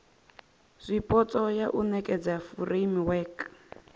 zwipotso ya u nekedza furemiweke